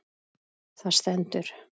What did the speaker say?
Það stendur